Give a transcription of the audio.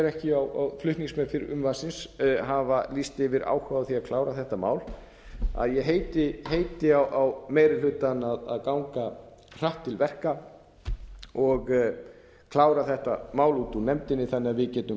ekki flutningsmenn frumvarpsins hafa lýst yfir áhuga á því að klára þetta mál ég heiti á meiri hlutann að ganga hratt til verka og klára þetta mál út úr nefndinni þannig að við getum